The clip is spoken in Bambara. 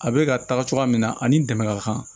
A bɛ ka taga cogoya min na ani dɛmɛ ka kan